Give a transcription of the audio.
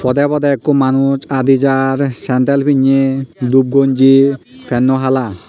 podey podey ikko manuj adi jar sandal pinney dup gonji penno hala.